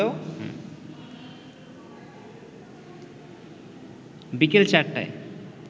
বিকেল ৪:০০টায়